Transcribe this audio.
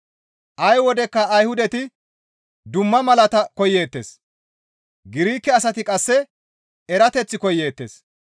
Ay wodekka Ayhudati dumma malaata koyeettes; Girike asati qasse erateth koyeettes.